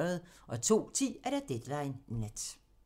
02:10: Deadline Nat